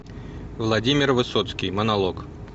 владимир высоцкий монолог